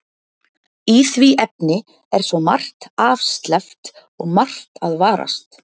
Í því efni er svo margt afsleppt og margt að varast.